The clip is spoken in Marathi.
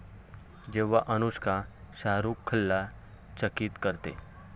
जेव्हा अनुष्का शाहरूखला चकित करते...